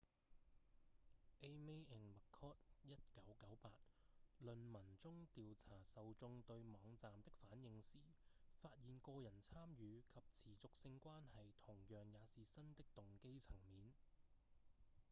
eighmey and mccord 1998論文中調查受眾對網站的反應時發現「個人參與」及「持續性關係」同樣也是新的動機層面